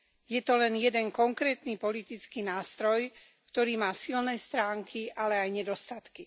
Je to len jeden konkrétny politický nástroj, ktorý má silné stránky, ale aj nedostatky.